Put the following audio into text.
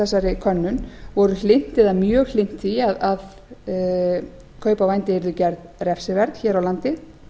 þessari könnun voru mjög hlynnt því að kaup á vændi yrðu gerð refsiverð hér á landi